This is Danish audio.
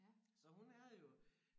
Så hun er jo